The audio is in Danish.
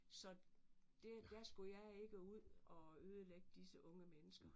Så det der skulle jeg ikke ud og ødelægge disse unge mennesker